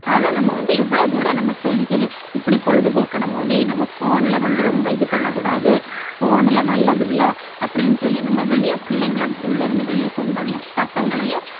ஆனா நம்ம வந்து எவ்வளவு தூரம் நம்ம சொல்லி சொல்லி இப்படி பொழுதுபோக்கணுமோ நீ நம்ம phone ல வந்து ரொம்ப இது பண்ணக் கூடாது phone எல்லாம் நல்லதில்லை. அப்படின்னு சொல்லி நம்ம வெளியே பிள்ளைங்களை உள்ளயிருந்து வெளிய கொண்டு வரணும் பசங்களையும்